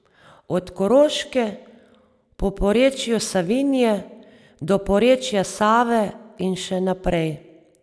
Od Koroške, po porečju Savinje do porečja Save in še naprej.